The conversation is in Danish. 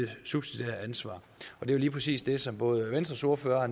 subsidiære ansvar det er lige præcis det som både venstres ordfører